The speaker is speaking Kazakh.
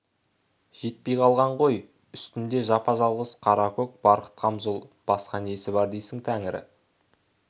жетпей қалған ғой үстінде жапа-жалғыз қара-көк барқыт қамзол басқа несі бар дейсің тәңірі